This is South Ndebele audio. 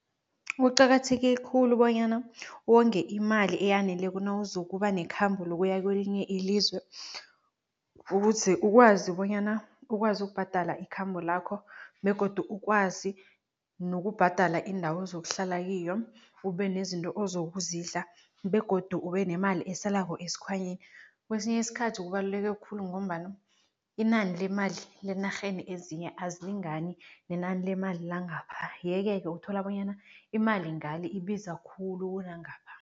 Kuqakatheke khulu bonyana wonge imali eyaneleko nawuzokuba nekhambo lokuya kwelinye ilizwe ukuze ukwazi bonyana ukwazi ukubhadala ikhambo lakho begodu ukwazi nokubhadala indawo ozokuhlala kiyo, ube nezinto ozokuzidla begodu ube nemali esalako esikhwanyeni. Kwesinye isikhathi kubaluleke khulu ngombana inani lemali lenarheni ezinye azilingani nenani lemali langapha yeke-ke uthola bonyana imali ngale ibiza khulu kunangapha.